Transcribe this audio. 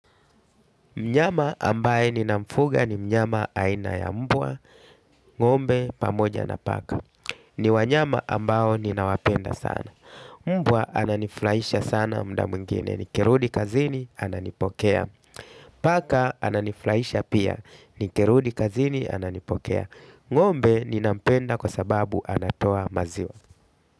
Mnyama ambaye ninamfuga ni mnyama aina ya mbwa, ngombe pamoja na paka. Ni wanyama ambao ninawapenda sana. Mbwa, ananifurahisha sana muda mwingine. Nikirudi kazini, ananipokea. Paka ananiflaisha pia. Nikirudi kazini, ananipokea. Ngombe, ninampenda kwa sababu anatoa maziwa.